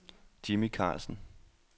Jimmy Carlsen